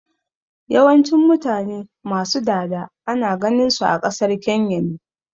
Yawancin mutane ma su dada ana ganin su a ƙasar Kenya ne